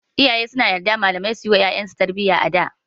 Iyaye suna yarda malamai suyi wa ƴaƴan su tarbiyya a da.